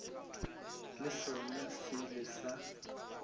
le sona se ile sa